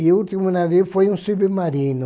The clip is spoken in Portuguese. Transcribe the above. E o último navio foi um submarino.